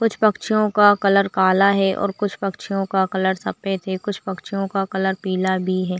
कुछ पक्षियों का कलर काला है और कुछ पक्षियों का कलर सफ़ेद है कुछ पक्षियों का कलर पीला भी है।